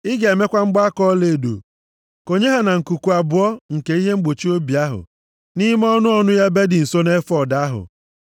Ị ga-emekwa mgbaaka ọlaedo, konye ha na nkuku abụọ nke ihe mgbochi obi ahụ, nʼime ọnụ ọnụ ya ebe dị nso efọọd ahụ.